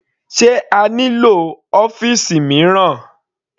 Sé a nílò ọ́fìsì mìíràn?